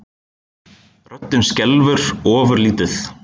Röddin skelfur ofurlítið.